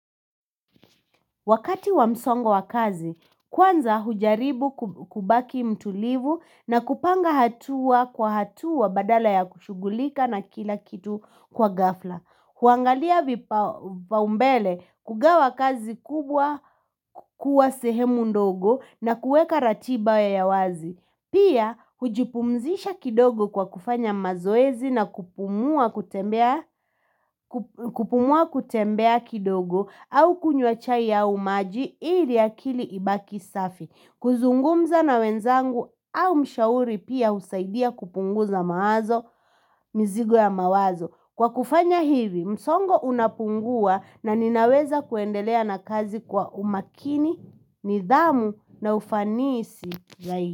Wakati wamsongo wakazi, kwanza hujaribu kubaki mtulivu na kupanga hatua kwa hatua badala ya kushugulika na kila kitu kwa gafla huangalia vipa umbele kugawa kazi kubwa. Kuwa sehemu ndogo na kueka ratiba ya wazi Pia, hujipumzisha kidogo kwa kufanya mazoezi na kupumua kutembea. Kupumua kutembea kidogo au kunywa chai au maji ili akili ibaki safi. Kuzungumza na wenzangu au mshauri pia usaidia kupunguza mawazo, mzigo ya mawazo. Kwa kufanya hivi, msongo unapungua na ninaweza kuendelea na kazi kwa umakini, nidhamu na ufanisi.